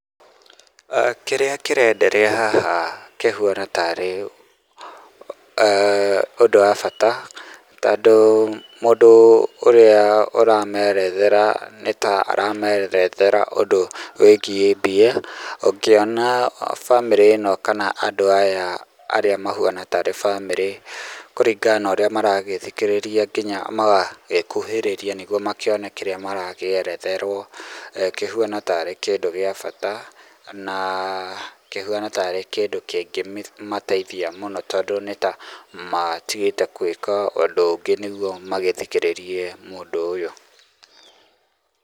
Kĩrĩa kĩrenderea haha kĩhuana tarĩ ũndũ wa bata, tondũ mũndũ ũrĩa ũramerethera nĩ ta aramerethera ũndũ wĩgiĩ mbia, ũngĩona bamĩrĩ ĩno kana andũ aya arĩa mahuana tarĩ bamĩrĩ, kũringana na ũrĩa maragĩthikĩrĩria nginya magagĩkuhĩrĩrĩa nĩguo makĩone kĩrĩa marakĩeretherwo, kĩhuana tarĩ kĩndũ gĩa bata, na kĩhuana tarĩ kĩndũ kĩngĩmateithia mũno tondũ nĩ ta matigĩte gwĩka ũndũ ũngĩ nĩguo magĩthikĩrĩrie ũndũ ũyũ.